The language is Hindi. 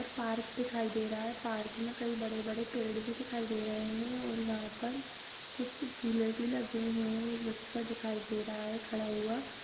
और पार्क दिखाई दे रहा है पार्क में कई बड़े-बड़े पेड़ भी दिखाई दे रहे हैं और यहाँ पर कुछ झुले भी लगे हुए हैं एक बच्चा दिखाई दे रहा है खड़ा हुआ--